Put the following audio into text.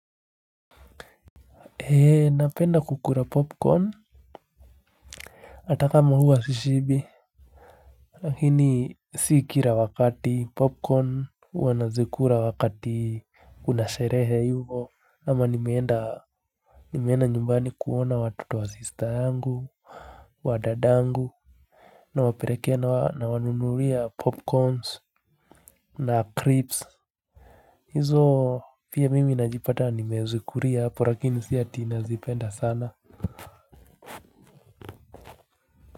Napenda kukula popcorn. Hata kama huwa sishibi, lakini si kila wakati popcorn huwa nazikula wakati, kunasherehe, hivyo ama nimeenda, nimeenda nyumbani kuona watoto wa sista angu, wa dada angu. Nawapelekea, nawanunulia popcorns. Na crips, hizo pia mimi najipata nimezikulia hapo lakini si ati nazipenda sana.